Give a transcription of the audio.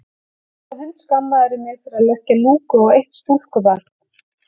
Og svo hundskammarðu mig fyrir að leggja lúku á eitt stúlkubarn.